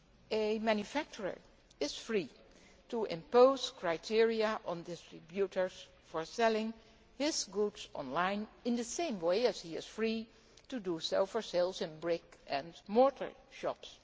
A manufacturer is free to impose criteria on distributors for selling his goods on line in the same way as he is free to do so for sales in brick and mortar shops.